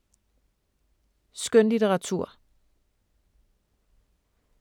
Skønlitteratur